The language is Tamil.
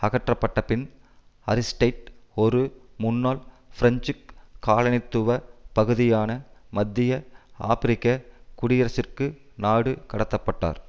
அகற்றப்பட்டபின் அரிஸ்டைட் ஒரு முன்னாள் பிரெஞ்சு காலனித்துவ பகுதியான மத்திய ஆபிரிக்க குடியரசிற்கு நாடு கடத்த பட்டார்